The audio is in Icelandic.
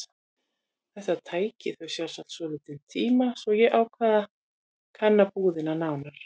Þetta tæki þau sjálfsagt svolítinn tíma svo ég ákvað að kanna búðina nánar.